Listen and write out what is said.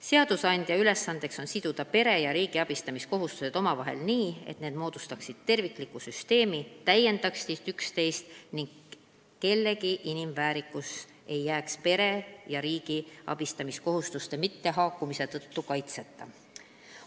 Seadusandja ülesanne on siduda pere ja riigi abistamiskohustused omavahel nii, et need moodustaksid tervikliku süsteemi, täiendaksid üksteist ning kellegi inimväärikus ei jääks pere ja riigi abistamiskohustuste mittehaakumise tõttu kaitseta.